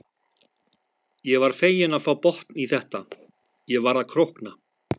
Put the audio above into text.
Ég var fegin að fá botn í þetta, ég var að krókna.